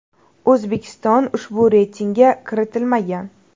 O‘zbekiston ushbu reytingga kiritilmagan.